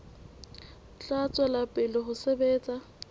tla tswela pele ho sebetsa